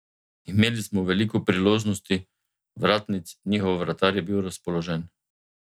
Imeli smo veliko priložnosti, vratnic, njihov vratar je bil razpoložen.